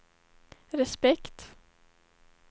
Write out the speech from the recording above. respekt